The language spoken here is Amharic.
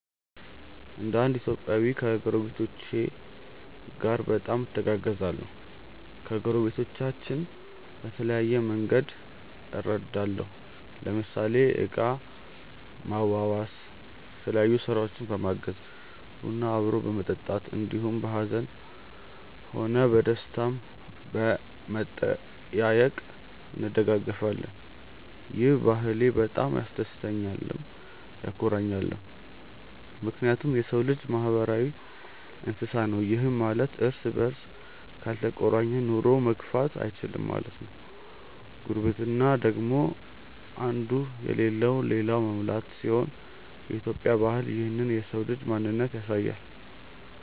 እንደ እንድ ኢትዮጵያዊ ከጐረቤቶቼ ጋር በጣም እተጋገዛለሁ። ከጐረቤቶቻችን በተለያየ መንግድ እረዳለሁ ለምሳሌ እቃ ማዋዋስ፣ የተለያዮ ስራውችን በማገዝ፣ ቡና አብሮ በመጠጣት እንዲሁም በሀዝንም ሆነ በደስታም በመጠያዬቅ እንደጋገፋለን። ይህ ባህሌ በጣም ያስደስተኛልም ያኮራኛልም ምክንያቱም የሰው ልጅ ማህበራዊ እንስሳ ነው ይህም ማለት እርስ በርስ ካልተቆራኘ ኑሮውን መግፋት እይችልም ማለት ነው። ጉርብትና ደግሞ እንዱ የለለውን ልላኛው መሙላት ሲሆን የኢትዮጵያ ባህል ይህንን የሰው ልጅ ማንነት ያሳያል።